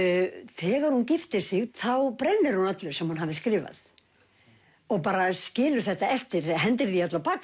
þegar hún giftir sig þá brennir hún öllu sem hún hafði skrifað og bara skilur þetta eftir hendir því öllu á bak